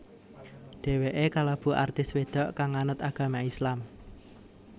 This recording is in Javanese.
Dhéwéké kalebu artis wedok kang nganut agama Islam